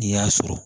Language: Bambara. N'i y'a sɔrɔ